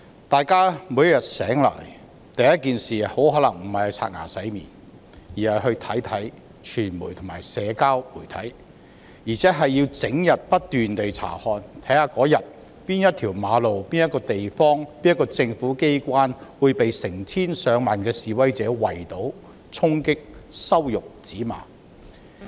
大家每天醒來，第一件事很可能不是洗臉刷牙，而是去查看傳媒和社交媒體，還會整天不斷查看，看看當天哪一條馬路、哪一個地方、哪一個政府機關將會被成千上萬的示威者圍堵、衝擊、羞辱、指罵。